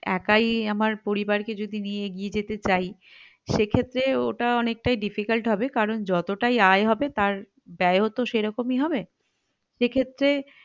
একাই আমার পরিবারকে যদি নিয়ে এগিয়ে যেতে চাই সেক্ষেত্রে ওটা অনেকটাই difficult হবে কারণ যতটাই অ্যায় হবে তার ব্যয় ও তো সেরকমই হবে সেক্ষেত্রে